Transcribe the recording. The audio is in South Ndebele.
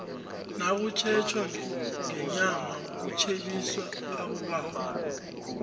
nakutjhetjwa ngenyama kutjhebisa abobaba